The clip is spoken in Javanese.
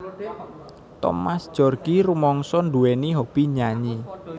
Thomas Djorgi rumangsa nduwèni hobby nyanyi